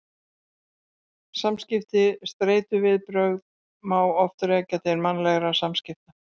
Samskipti Streituviðbrögð má oft rekja til mannlegra samskipta.